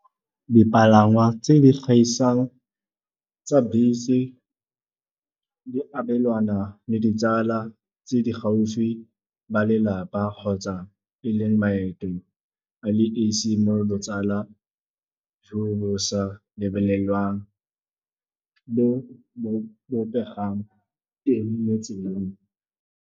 Dipalangwa tse di gaisang tsa bese di abelana le ditsala tse di gaufi, ba lelapa kgotsa e le maeto a le esi. Mo le botsala jo bo sa lebelelwang, bo bo bopegang teng motseleng.